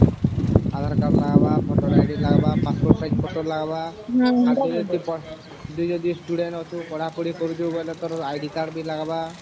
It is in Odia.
aadhar card ଲାଗିବ voter id ଲାଗିବ passport size photo ଲାଗିବ ଦି ଯଦି student ଅଛୁ ପଢା ପଢି କରୁଚୁ ବୋଇଲେ ତୋର id card ବି ଲାଗିବା